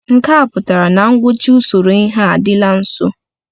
Nke a pụtara na ngwụcha usoro ihe a adịla nso.